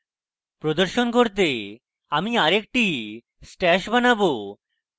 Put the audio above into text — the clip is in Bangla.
প্রদর্শন করতে আমি আরেকটি stash বানাবো